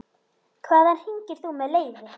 Hvaðan hringir þú með leyfi?